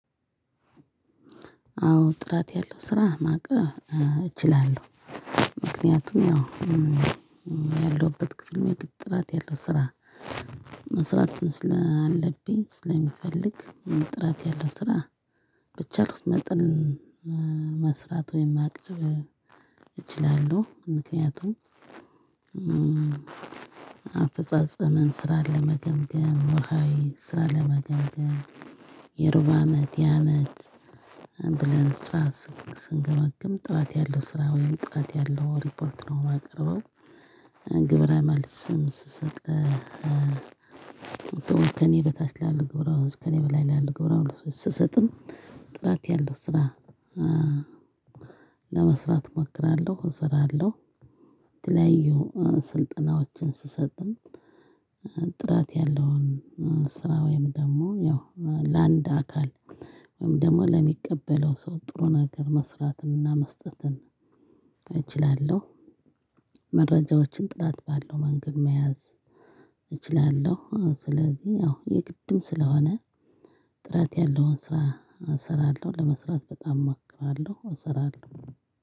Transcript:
አዎ ጥራት ያለው ስራ ማቀረብ እችላለው። ምክንያቱም ያው ያለሁበት ክፍል ይግድ ጥራት ያለው ስራ መስራት ስላለብኝ ስለሚፈልግ ጥራት ያለው ስራ ብቻ መርጠን መስራት ወይም ማቅረብ እችላለው። ምክንያቱም አፈጻጸመን ስራን ለመገምገም ውርሀዊ ስራ ለመገምገም የሩብ አመት የአመት ብለን ስራ ስንገመግም ጥራት ያለው ስራ ወይም ጥራት ያለው ሪፖርት ነው ማቀርበው። ግብረ መልስም ስሰጥ ከእኔ በታች ላሉው ግብረ መልስ ከእኔ በላይ ላሉው ግብረ መልስ ስሰጥም ጥራት ያለው ስራ ለመስራት እመክራለሁ እሰራለሁ። የተለያዩ ስልጠናዎችን ስሰጥም ጥራት ያለውን ስራ ወይም ደግሞ ያው ለአንድ አካል ወይም ደግሞ ለሚቀበለው ሰው ጥሩ ነገር መስራትንና መስጠትን እችላለሁ። መረጃዎችን ጥራት ባለው መንገድ መያዝ እችላለሁ። ስለዚህ ያው የግድም ስለሆነ ጥራት ያለውን ስራ እሰራለሁ ለመስራት በጣም እማክራለው እሰራለው።